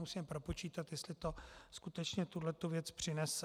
Musíme propočítat, jestli to skutečně tuhletu věc přinese.